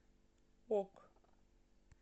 ок